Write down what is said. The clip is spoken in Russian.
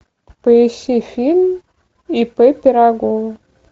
поищи фильм ип пирогова